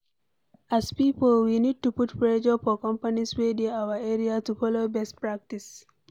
As pipo we need to put pressure for companies wey dey our area to follow best practice